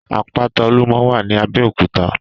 Àpàtá Ólúmò wà ní Abeokuta